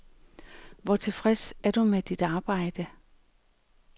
Hvor tilfreds er du med dit arbejde?